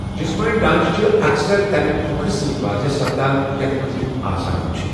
جسمٲنی ڈانٛچہٕ چھِ اَکثَر تمہِ كھۄكھرِ سۭتۍ واضح سپدان یَتھ منٛز یِم آسان چھِ ۔